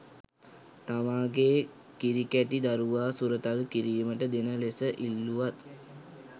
තමාගේ කිරිකැටි දරුවා සුරතල් කිරීමට දෙන ලෙස ඉල්ලුවත්